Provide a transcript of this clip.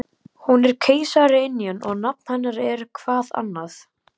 Hún er keisaraynjan og nafn hennar er-hvað annað?